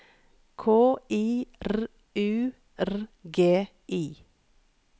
K I R U R G I